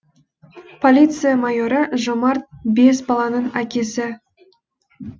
полиция майоры жомарт бес баланың әкесі